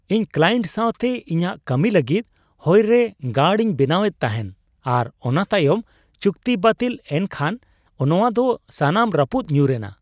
ᱤᱧ ᱠᱞᱟᱭᱮᱱᱴ ᱥᱟᱶᱛᱮ ᱤᱧᱟᱹᱜ ᱠᱟᱹᱢᱤ ᱞᱟᱹᱜᱤᱫ ᱦᱚᱭ ᱨᱮ ᱜᱟᱲ ᱤᱧ ᱵᱮᱱᱟᱣ ᱮᱫ ᱛᱟᱦᱮᱱ ᱟᱨ ᱚᱱᱟ ᱛᱟᱭᱚᱢ ᱪᱩᱠᱛᱤ ᱵᱟᱹᱛᱤᱞ ᱮᱱ ᱠᱷᱟᱱ ᱱᱚᱶᱟ ᱫᱚ ᱥᱟᱱᱟᱢ ᱨᱟᱹᱯᱩᱫ ᱧᱩᱨ ᱮᱱᱟ ᱾